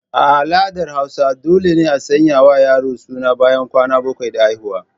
A al'adar hausa dole ne a sanya wa yaro suna ɓayan kwana bakwai da haihuwa.